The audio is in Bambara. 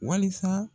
Walisa